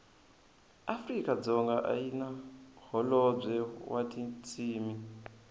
afrikadzonga ayina hholobwe watintshimi